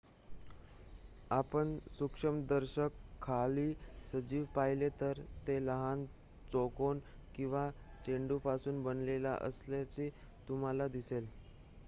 आपण सूक्ष्मदर्शकाखाली सजीव पाहिले तर ते लहान चौकोन किंवा चेंडूंपासून बनलेले असल्याचे तुम्हाला दिसेल